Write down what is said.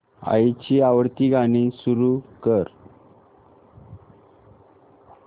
आईची आवडती गाणी सुरू कर